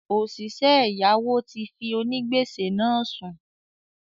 “Òsìsẹ́ ẹ̀yáwó” ti fi “ onígbèsè ” náà sùn